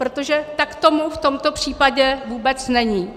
Protože tak tomu v tomto případě vůbec není.